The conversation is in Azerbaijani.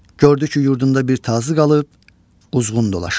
Gördü ki, yurdunda bir tazı qalıb, quzğun dolaşır.